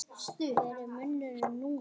Hver er munurinn núna?